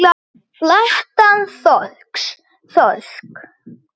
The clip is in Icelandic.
Flattan þorsk.